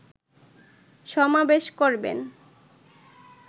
সমাবেশ করবেন